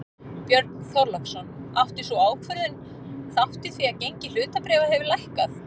Björn Þorláksson: Átti sú ákvörðun þátt í því að gengi hlutabréfa hefur lækkað?